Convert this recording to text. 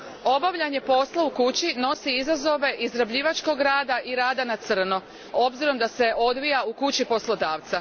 Obavljanje posla u kući nosi izazove izrabljivačkog rada i rada na crno, s obzirom da se odvija u kući poslodavca.